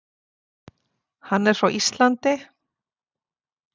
Hann er frá Íslandi.